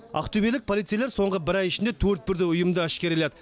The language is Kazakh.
ақтөбелік полицейлер соңғы бір ай ішінде төрт бірдей ұйымды әшкереледі